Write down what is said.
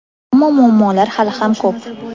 ammo muammolar hali ham ko‘p.